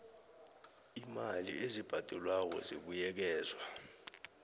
iimali ezibhadelwako zibuyekezwa